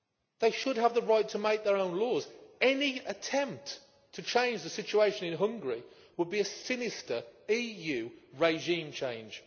They should have the right to make their own laws. Any attempt to change the situation in Hungary would be a sinister EU regime change.